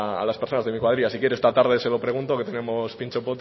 a las personas de mi cuadrilla si quiere esta tarde se lo pregunto que tenemos pintxo